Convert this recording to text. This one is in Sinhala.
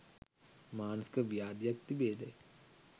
මානසික ව්‍යාධියක් තිබේදැයි